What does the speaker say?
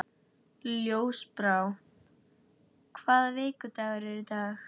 Ljósbrá, hvaða vikudagur er í dag?